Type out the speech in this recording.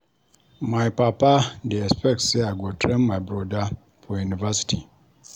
My papa dey expect sey I go train my broda for university.